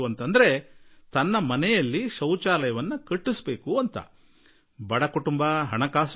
ಆದರೆ ಮನೆಯವರ ಹಣಕಾಸು ಸ್ಥಿತಿ ಅಷ್ಟಾಗಿ ಅನುಕೂಲಕರವಾಗಿ ಇರಲಿಲ್ಲ